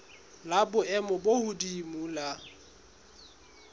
la boemo bo hodimo la